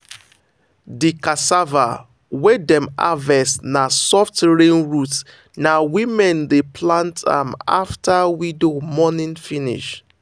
the cassava wey dem harvest na soft rain root na women dey plant am after widow mourning finish.